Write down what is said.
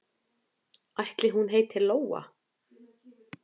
Ætli hún heiti Lóa?